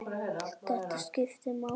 Allt þetta skiptir máli.